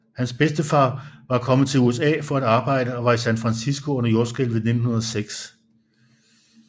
Hans bedstefar var kommet til USA for at arbejde og var i San Francisco under jordskælvet i 1906